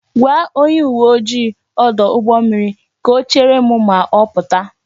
Gwa onye uwe ojii ọdụ ụgbọ mmiri ka o chere m ma ọ pụta